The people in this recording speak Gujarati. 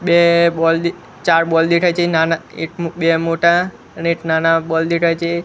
બે બોલ ચાર બોલ દેખાય છે નાના એક બે મોટા અને એક નાના બોલ દેખાય છે.